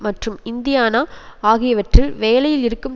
மற்றும் இந்தியானா ஆகியவற்றில் வேலையில் இருக்கும்